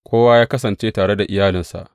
Kowa ya kasance tare da iyalinsa.